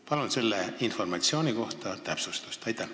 Palun selle informatsiooni kohta täpsustust!